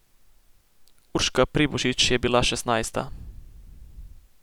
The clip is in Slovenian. Urška Pribošič je bila šestnajsta.